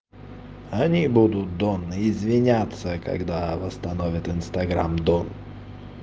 они будут донна извиняться когда восстановят инстаграм дом